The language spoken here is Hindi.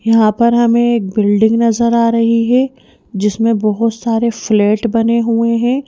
यहाँ पर हमें एक बिल्डिंग नजर आ रही है जिसमें बहुत सारे फ्लैट बने हुए हैं।